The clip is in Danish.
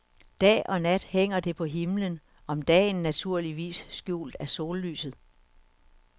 Dag og nat hænger det på himlen, om dagen naturligvis skjult af sollyset.